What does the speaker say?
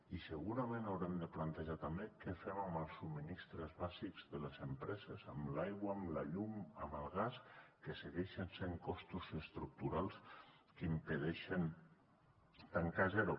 i segurament haurem de plantejar també què fem amb els subministraments bàsics de les empreses amb l’aigua amb la llum amb el gas que segueixen sent costos estructurals que impedeixen tancar a zero